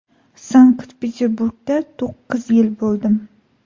Sankt-Peterburgda to‘qqiz yil bo‘ldim.